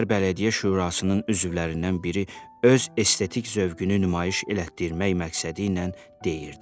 Şəhər Bələdiyyə Şurasının üzvlərindən biri öz estetik zövqünü nümayiş etdirmək məqsədi ilə deyirdi.